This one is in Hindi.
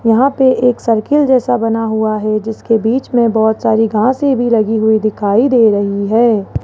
यहां पे एक सर्कल जैसा बना हुआ है जिसके बीच में बहुत सारी घासें भी लगी हुईं दिखाई दे रही हैं।